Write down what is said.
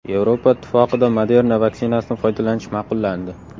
Yevropa Ittifoqida Moderna vaksinasidan foydalanish ma’qullandi.